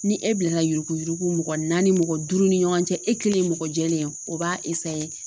Ni e bilala yuruguyurugu mɔgɔ naani mɔgɔ duuru ni ɲɔgɔn cɛ e kelen ye mɔgɔ jɛlen ye o b'a